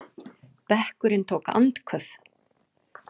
Bekkurinn tók andköf.